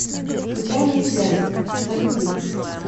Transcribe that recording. случайные связи загрузи